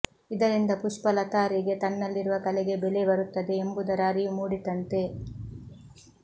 ಇದರಿಂದ ಪುಷ್ಪಲತಾರಿಗೆ ತನ್ನಲ್ಲಿರುವ ಕಲೆಗೆ ಬೆಲೆ ಬರುತ್ತದೆ ಎಂಬುದರ ಅರಿವು ಮೂಡಿತಂತೆ